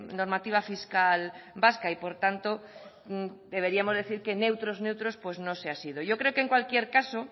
normativa fiscal vasca y por tanto deberíamos decir que neutros neutros pues no se ha sido yo creo que en cualquier caso